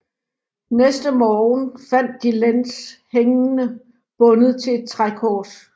Næste morgen fandt de Lenz hængende bundet til et trækors